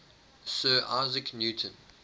sir isaac newton